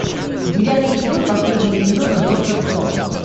девятый эпизод последнего сезона доктор кто